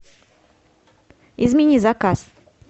измени заказ